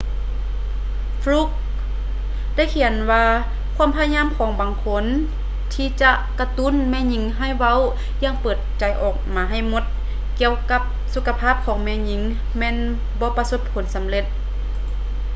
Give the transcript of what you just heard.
ຟຼຸກຄ໌ fluke ໄດ້ຂຽນວ່າ ຄວາມພະຍາຍາມຂອງບາງຄົນ ທີ່ຈະກະຕຸ້ນແມ່ຍິງໃຫ້ເວົ້າຢ່າງເປີດໃຈອອກມາໃຫ້ໝົດ ກ່ຽວກັບສຸຂະພາບຂອງແມ່ຍິງ ແມ່ນບໍ່ປະສົບຜົນສຳເລັດ